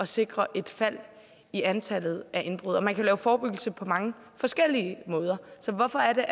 sikre et fald i antallet af indbrud man kan lave forebyggelse på mange forskellige måder så hvorfor